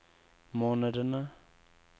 månedene